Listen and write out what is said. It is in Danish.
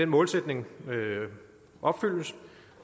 målsætning opfyldes